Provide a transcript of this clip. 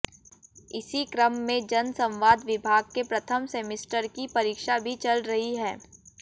इसी क्रम में जनसंवाद विभाग के प्रथम सेमिस्टर की परीक्षा भी चल रही हैं